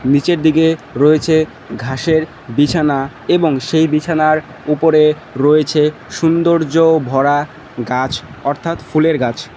নীচের দিকে রয়েছে ঘাসের বিছানা এবং সেই বিছানার উপরে রয়েছে সুন্দর্য ভরা গাছ অর্থাৎ ফুলের গাছ।